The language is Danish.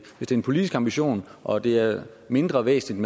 en politisk ambition og det er mindre væsentligt